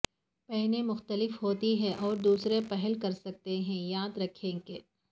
پینے مختلف ہوتی ہیں اور دوسرے پھل کر سکتے ہیں یاد رکھیں کہ